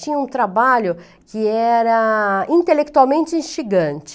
Tinha um trabalho que era intelectualmente instigante.